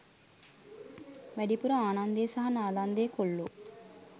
වැඩිපුර ආනන්දේ සහ නාලන්දේ කොල්ලෝ